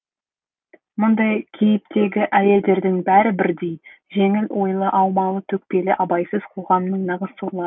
мұндай кейіптегі әйелдердің бәрі бірдей жеңіл ойлы аумалы төкпелі абайсыз қоғамның нағыз сорлары